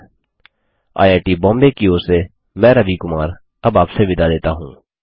httpspoken tutorialorgNMEICT Intro IIT Bombay की ओर से मैं रवि कुमार अब आपसे विदा लेता हूँ